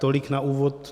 Tolik na úvod.